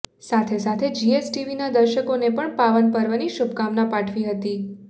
સાથે સાથે જીએસટીવીના દર્શકોને પણ પાવન પર્વની શુભકામના પાઠવી હતી